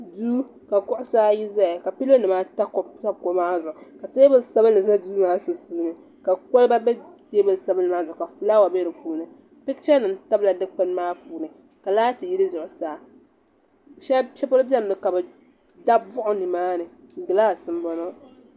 Duu ka kuɣu saa ayi zaya ka pilonimaata pa kuɣu maa zuɣu ka teebuli sabinli za duu maa sunsuuni ka kɔliba be teebuli sabinli zuɣu ka fulaawa be di puuni pichanima tabila dikpuni maa puuni ka laati yili zuɣu saa shɛli polo bɛni mi ka bi dabi buɣim ni maani.